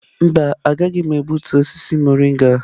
Mba, agaghị m egbutu osisi mọrịnga.